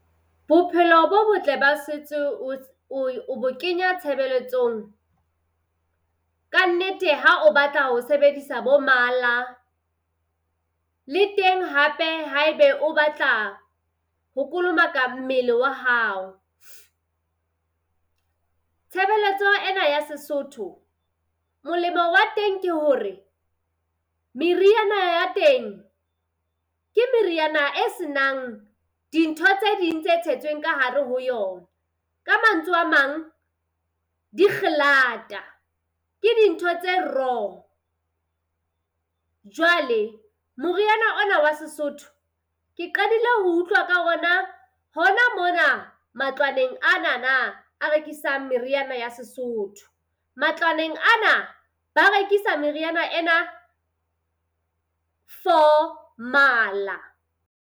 Bophelo bo botle ba setso o bo kenya tshebeletsong ka nnete ha o batla ho sebedisa bo mala le teng hape haebe o batla ho kolomaka mmele wa hao. Tshebeletso ena ya Sesotho molemo wa teng ke hore meriana ya teng, ke meriana e senang dintho tse ding tse tshetsweng ka hare ho yona. Ka mantswe a mang ke dintho tse raw. Jwale, moriana ona wa Sesotho ke qadile ho utlwa ka ona hona mona matlwaneng anana a rekisang meriana ya Sesotho. Matlwaneng ana ba rekisa meriana ena. for mala.